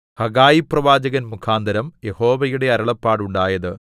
ഹഗ്ഗായിപ്രവാചകൻമുഖാന്തരം യഹോവയുടെ അരുളപ്പാടുണ്ടായത്